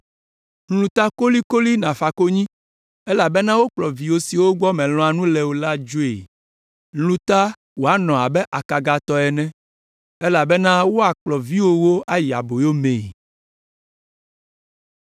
Lũ ta kolikoli nàfa konyi elabena wokplɔ vi siwo gbɔ mèlɔ̃a nu le o la dzoe. Lũ ta wòanɔ abe akaga tɔ ene, elabena woakplɔ viwòwo ayi aboyo mee.